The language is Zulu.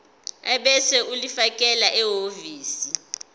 ebese ulifakela ehhovisi